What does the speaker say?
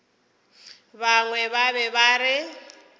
bangwe ba be ba re